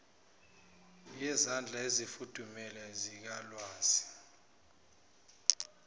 yezandla ezifudumele zikalwazi